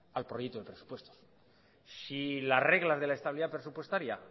al proyecto de presupuesto si las reglas de la estabilidad presupuestaria